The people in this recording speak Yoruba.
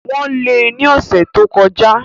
Wọ́n lé e ní ọ̀sẹ̀ tí o kọ já